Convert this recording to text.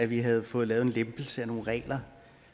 vi havde fået lavet en lempelse af nogle regler